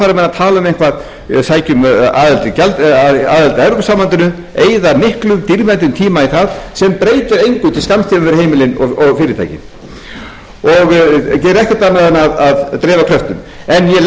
menn að tala um eitthvað að sækja um aðild að evrópusambandinu eyða miklum dýrmætum tíma í það sem breytir engu sem breytir engu sem fram kemur við heimilin og fyrirtækin og gerir ekkert annað en að dreifa kröftum en ég legg til